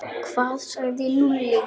Hvað sagði Lúlli?